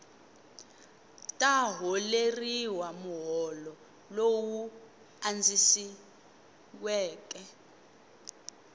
ta holeriwa muholo lowu andzisiweke